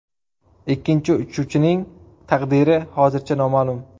Ikkinchi uchuvchining taqdiri hozircha noma’lum.